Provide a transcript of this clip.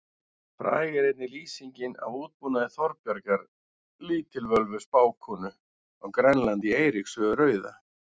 Fræg er einnig lýsing af útbúnaði Þorbjargar lítilvölvu spákonu á Grænlandi í Eiríks sögu rauða.